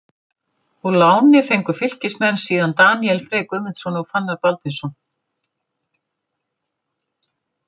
Úr láni fengu Fylkismenn síðan Daníel Frey Guðmundsson og Fannar Baldvinsson.